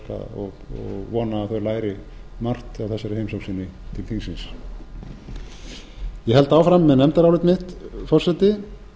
margt af þessari heimsókn sinni til þingsins ég held áfram með nefndarálit mitt forseti